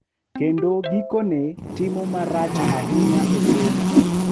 Kendo gikone timo marach ahinya e somo.